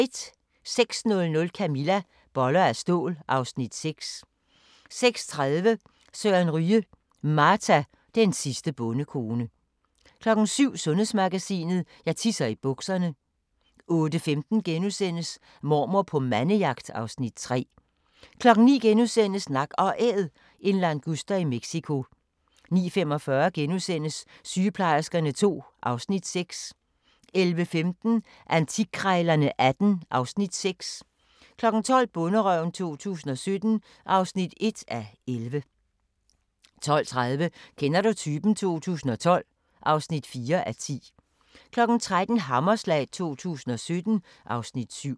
06:00: Camilla - Boller af stål (Afs. 6) 06:30: Søren Ryge: Marta, den sidste bondekone 07:00: Sundhedsmagasinet: Jeg tisser i bukserne 08:15: Mormor på mandejagt (Afs. 3)* 09:00: Nak & Æd – en languster i Mexico * 09:45: Sygeplejerskerne II (Afs. 6)* 11:15: Antikkrejlerne XVIII (Afs. 6) 12:00: Bonderøven 2017 (1:11) 12:30: Kender du typen? 2012 (4:10) 13:00: Hammerslag 2017 (Afs. 7)